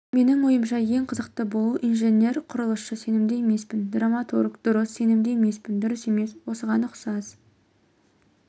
менің ойымша ең қызықты болу инженер-құрылысшы сенімді емеспін драматург дұрыс сенімді емеспін дұрыс емес осыған ұқсас